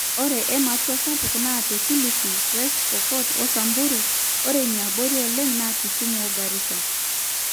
ore ematwa sapuk naa te kilifi, west pokot o samburu ore iniabori oleng naa kisumu o garissa